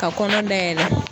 Ka kɔnɔ dayɛlɛ